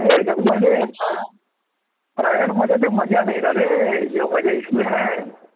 private मध्ये ते मजा नाही ना रे मजा